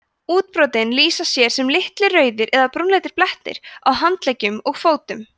útbrotin lýsa sér sem litlir rauðir eða brúnleitir blettir á handleggjum og fótum